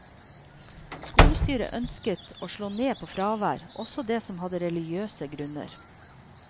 Skolestyret ønsket å slå ned på fravær, også det som hadde religiøse grunner.